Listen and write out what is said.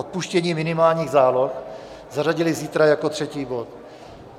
Odpuštění minimálních záloh zařadili zítra jako třetí bod.